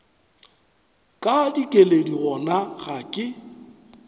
ka dikeledi gona ga ke